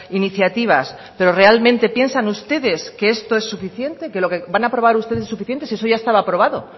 iniciativas pero realmente piensan ustedes que esto es suficiente que lo que van a aprobar ustedes es suficiente si eso ya estaba aprobado